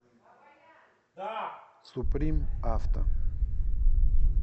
суприм авто